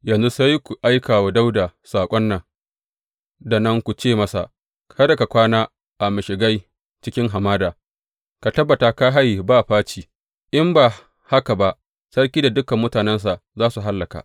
Yanzu sai ku aika wa Dawuda saƙo nan da nan ku ce masa, Kada ka kwana a mashigai cikin hamada; ka tabbata ka haye ba faci, in ba haka ba sarki da dukan mutanensa za su hallaka.’